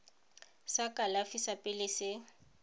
sa kalafi sa pele se